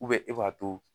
e b'a to